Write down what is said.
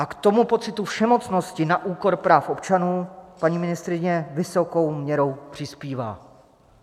A k tomu pocitu všemocnosti na úkor práv občanů paní ministryně vysokou měrou přispívá.